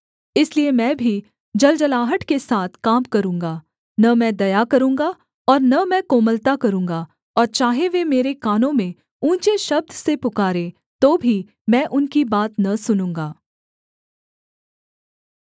इसलिए मैं भी जलजलाहट के साथ काम करूँगा न मैं दया करूँगा और न मैं कोमलता करूँगा और चाहे वे मेरे कानों में ऊँचे शब्द से पुकारें तो भी मैं उनकी बात न सुनूँगा